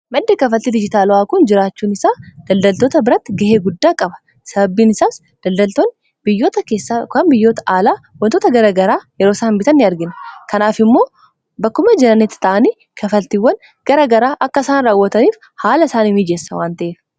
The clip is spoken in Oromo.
Maddi kafaltii dijitaala'aa kun jiraachuun isaa daldaltoota biratti ga'ee guddaa qaba. Sababiin isaas daldaltoonni biyyoota keessaa yokan biyyoota alaa waantota garaa garaa yeroo isaan bitan ni argina kanaaf immoo bakkuma jiranitti ta'anii kanfaltiiwwan garaa garaa akka isaan raawwataniif haala isaanii mijeessa waanta'eefi.